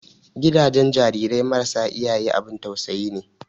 Gidajen jarirai marasa iyaye abun tausayi ne.